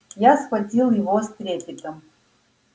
я схватил его с трепетом